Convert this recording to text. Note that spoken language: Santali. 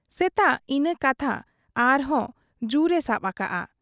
ᱥᱮᱛᱟᱜ ᱤᱱᱟᱹ ᱠᱟᱛᱷᱟ ᱟᱨᱦᱚᱸ ᱡᱩᱨ ᱮ ᱥᱟᱵ ᱟᱠᱟᱜ ᱟ ᱾